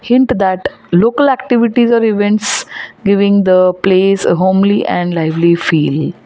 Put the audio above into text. Hint that local activities or events giving the place homely and lively feel.